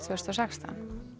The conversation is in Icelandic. tvö þúsund og sextán